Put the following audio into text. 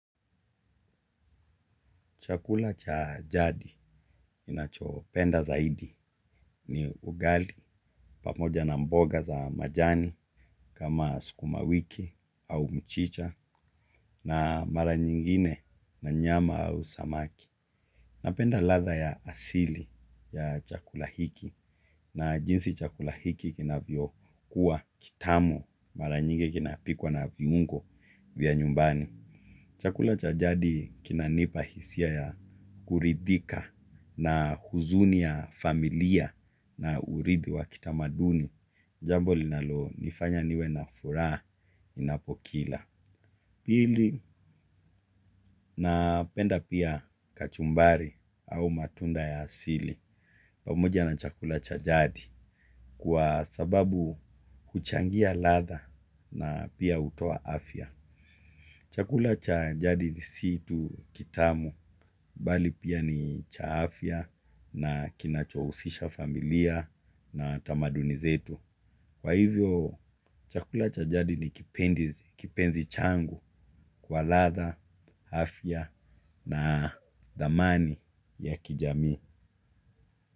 Chakula cha jadi ninachopenda zaidi ni ugali pamoja na mboga za majani kama sukuma wiki au mchicha, na mara nyingine na nyama au samaki. Napenda ladha ya asili ya chakula hiki na jinsi chakula hiki kinavyokuwa kitamu, mara nyingi kinapikwa na viungo vya nyumbani. Chakula cha jadi kinanipa hisia ya kuridhika na huzuni ya familia na urithi wa kitamaduni. Jambo linalonifanya niwe na furaha ninapokila. Napenda pia kachumbari au matunda ya asili. Pamoja na chakula cha jadi kwa sababu huchangia ladha na pia hutoa afya. Chakula cha jadi si tu kitamu, bali pia ni cha afya na kinachohusisha familia na tamaduni zetu. Kwa hivyo, chakula cha jadi ni kipenzi changu kwa ladha, afya na thamani ya kijamii.